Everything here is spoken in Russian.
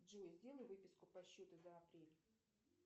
джой сделай выписку по счету за апрель